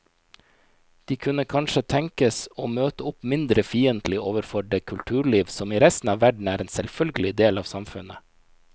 De kunne kanskje tenkes å møte opp mindre fiendtlige overfor det kulturliv som i resten av verden er en selvfølgelig del av samfunnet.